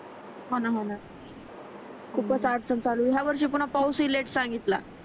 होण होण खूपच अडचण चालु आहे ह्या वर्षी पुन्हा पाऊस हि लेट सांडीतला